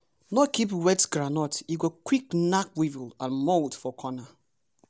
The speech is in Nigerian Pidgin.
no keep wet groundnut e go quick knack weevil and mold for corner.